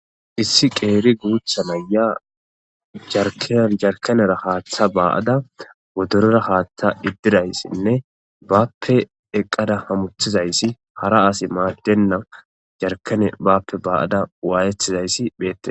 Issi qeeri guutha naya jarkanera haaththa ba7ada godorera haaththa iddirayssinne bappe eqqada hamuthizayssi hara asi maaddenna jarkane bappe ba7ada waayetizayssi pheette